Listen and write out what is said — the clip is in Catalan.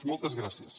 moltes gràcies